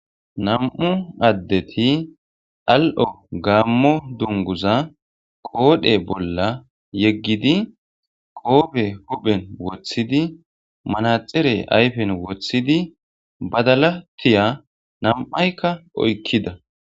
Nam7u addeti al7o gaammo dunguza qoodhe bolla yeggidi qoobe huphen woththidi manaxere ayfen woththidi badala tiya nam7aykka oykkida.